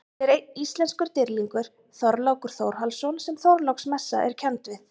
Til er einn íslenskur dýrlingur, Þorlákur Þórhallsson sem Þorláksmessa er kennd við.